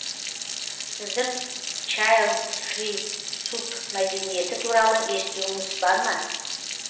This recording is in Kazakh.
сіздің чайлдфри субьмәдениеті туралы естуіңіз бар ма